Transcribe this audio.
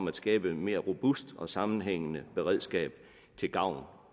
at skabe et mere robust og sammenhængende beredskab til gavn